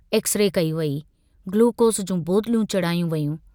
X-ray कई वेई, glucose जूं बोतलूं चाढ़ियूं वेयूं।